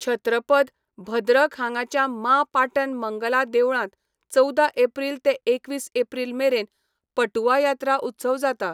छत्रपद, भद्रक हांगाच्या माँ पाटण मंगला देवळांत चवदा एप्रिल ते एकवीस एप्रिल मेरेन पटुआ यात्रा उत्सव जाता.